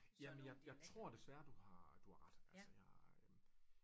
Ja jamen jeg jeg tror desværre du har ret altså jeg øh